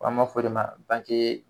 An m'a fɔ o de ma banke